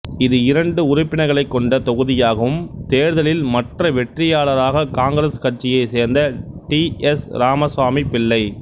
இது இரண்டு உறுப்பினர்களைக் கொண்ட தொகுதியாகவும் தேர்தலில் மற்ற வெற்றியாளராகக் காங்கிரசு கட்சியைச் சேர்ந்த டி எஸ் இராமஸ்வாமி பிள்ளை